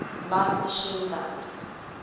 light machine guns